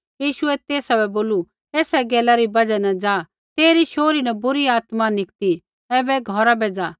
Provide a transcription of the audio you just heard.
यीशुऐ तेसा बै बोलू ऐसा गैला री बजहा न जा तेरी शोहरी न बुरी आत्मा निकती ऐबै घौरा बै ज़ा